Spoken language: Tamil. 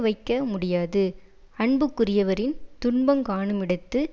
வைக்க முடியாது அன்புக்குரியவரின் துன்பங்காணுமிடத்து